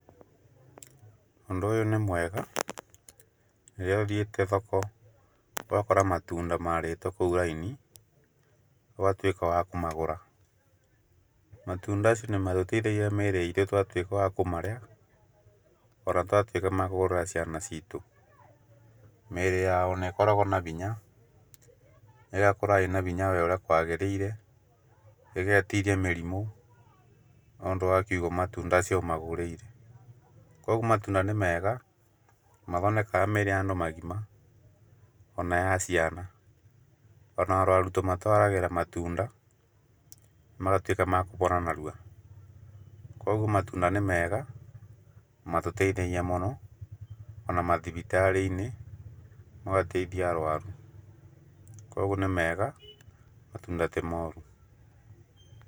Ũndũ ũyũ nĩ mwega rĩrĩa ũthiĩte thoko ũgakora matunda marĩtwo kũu raini ũgatuĩka wa kũmagura. Matunda nĩ matũteithagia mĩrĩ itũ twatuĩka wa kũmarĩa ona twatuĩka ma kũgũrira ciana citũ, mĩrĩ yao nĩ ĩkoragwo na binya ĩgakũra ĩna binya we ũrĩa kwagĩrĩire ĩgetiria mĩrimũ ũndũ wa kiugo matunda ũcio ũmagũrĩire. Koguo matunda nĩ mega nĩ mathondekaga mĩrĩ ya andũ magima ona ya ciana, ona arwaru tũmatwaragĩra matunda magatuĩka makũbona narua. Koguo matunda nĩ mega nĩ matũteithagia mũno ona mathibitari-inĩ no mateithie arwaru, koguo nĩ mega matunda ti moru.